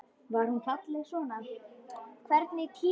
Var hún alltaf svona falleg?